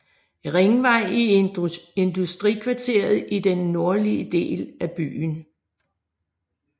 Ringvej i industrikvarteret i den nordlige del af byen